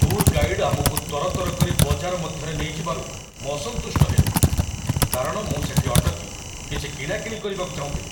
Tour guide ଆମକୁ ତରତର କରି ବଜାର ମଧ୍ୟରେ ନେଇଯିବାରୁ ମୁଁ ଅସନ୍ତୁଷ୍ଟ ହେଲି, କାରଣ ମୁଁ ସେଠି ଅଟକି କିଛି କିଣାକିଣି କରିବାକୁ ଚାହୁଁଥିଲି।